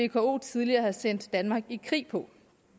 vko tidligere sendte danmark i krig på